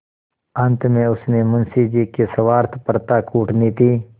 अंत में उसने मुंशी जी की स्वार्थपरता कूटनीति